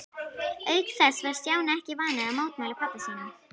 Auk þess var Stjáni ekki vanur að mótmæla pabba sínum.